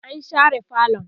an share falon